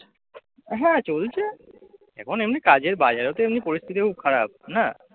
হ্যাঁ চলছে। এখন এমনি কাজের বাজারওতো এমনি পরিস্থিতি খুব খারাপ না? আর এখানে সব